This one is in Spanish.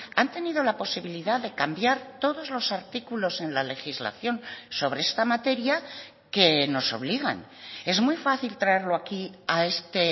han tenido la posibilidad de cambiar todos los artículos en la legislación sobre esta materia que nos obligan es muy fácil traerlo aquí a este